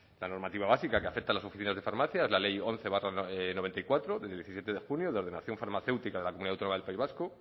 la normativa básica que afecta a las oficina de farmacias es la ley once barra noventa y cuatro de diecisiete de junio de ordenación farmacéutica de la comunidad autónoma del país vasco